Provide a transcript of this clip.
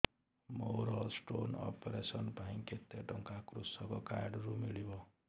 ମୋର stone operation ପାଇଁ କେତେ ଟଙ୍କା କୃଷକ କାର୍ଡ ରୁ ମିଳିବ